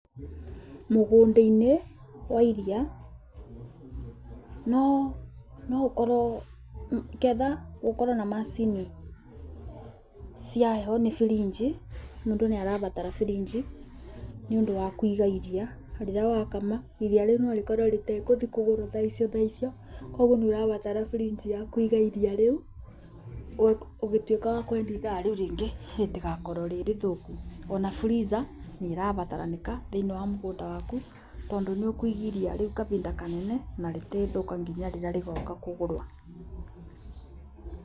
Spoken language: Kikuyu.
Mũgũnda-inĩ wa iria no ũkorwo ketha gũkorwo na macini cia heho nĩ birinji mũndũ nĩ arabatara birinji nĩ ũndũ wa kũiga rĩrĩa wakama iria rĩu nĩ rĩkorwo rĩtekũthi kugũrwo thaa icio thaa icio. Koguo nĩ urabatara fridge ya kũiga iria rĩu ũgituĩka wa kwendia ithaa rĩu rĩngĩ ritagakorwo rĩrĩthũku. Ona freezer nĩ ĩrabataranĩka thĩinĩ wa mũgũnda waku, tondũ nĩ ũkũiga iria rĩu kabinda kanene na rĩtithũka nginya rĩrĩa rĩgoka kũgũrwo.